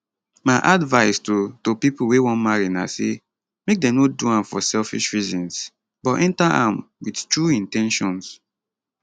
my advise to to pipo wey wan marry na say make dem no do am for selfish reasons but enta am wit true in ten tions